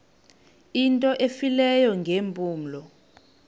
into efileyo ngeempumlo